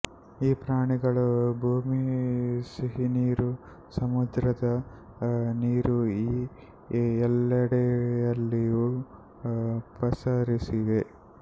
ಈ ಪ್ರಾಣಿಗಳು ಭೂಮಿ ಸಿಹಿನೀರು ಸಮುದ್ರದ ನೀರುಈ ಎಲ್ಲೆಡೆಯಲ್ಲಿಯೂ ಪಸರಿಸಿವೆ